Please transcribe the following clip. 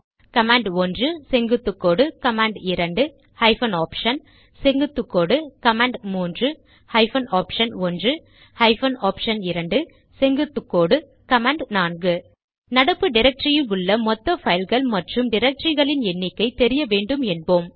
கமாண்ட்1 செங்குத்துக்கோடு கமாண்ட்2 hyphen option செங்குத்துக்கோடு கமாண்ட்3 ஹைபன் ஆப்ஷன்1 ஹைபன் ஆப்ஷன்2 செங்குத்துக்கோடு கமாண்ட்4 நடப்பு டிரக்டரியில் உள்ள மொத்த பைல்கள் மற்றும் டிரக்டரிகளின் எண்ணிக்கை தெரிய வேண்டும் என்போம்